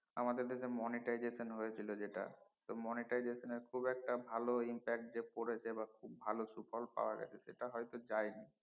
আমাদের দেশে monetization হয়েছিলো যেটা তো monetization খুব একটা ভালো impact যে পরেছে বা খুব ভালো শুফোল পাওয়া গেছে সেটা হয়তো যায় নি